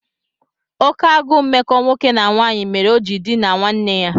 Oké agụụ mmekọ nwoke na nwanyị mere o ji dinaa nwanne ya.